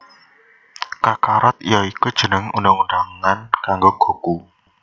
Kakarot ya iku jeneng undang undangan kanggo Goku